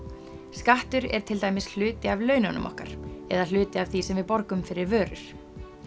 skattur er til dæmis hluti af laununum okkar eða hluti af því sem við borgum fyrir vörur